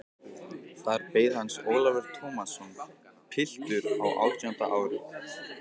Þar beið hans Ólafur Tómasson, piltur á átjánda ári.